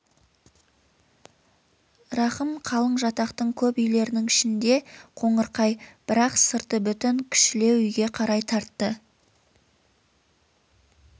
рахым қалың жатақтың көп үйлерінің ішінде қоңырқай бірақ сырты бүтін кішілеу үйге қарай тартты